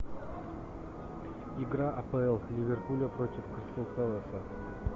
игра апл ливерпуля против кристал пэласа